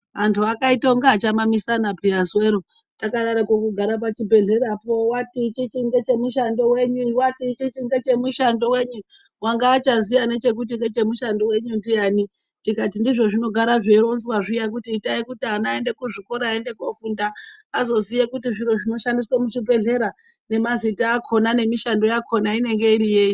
Antu akaita unga achamamisana pheya zuwero, takadaroko kugara pachibhedhlera uyu wati ichi ngechemushando wenyu, uyu wati ngechemushando wenyu wanga achaziya nekuti ngechemushando wenyu ndiani, tikati ndizvo zvinogara zveironzwa zviyani kuti itai kuti ana aende kuchikora andofunda azoziya kuti zviro zvinoshandiswa muzvibhedhlera nemazita akhona nemishando yachona inenge iri yei.